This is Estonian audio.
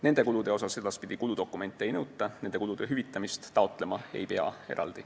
Nende kulude kohta edaspidi dokumente ei nõuta, kulude hüvitamist eraldi taotlema ei pea.